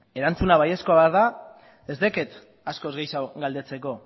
erantzuna baiezkoa bada ez daukat askoz gehiago galdetzeko